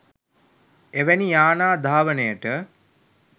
එවැනි යානා ධාවනයට